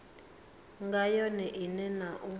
nga yone ine na u